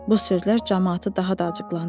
Bu sözlər camaatı daha da acıqlandırdı.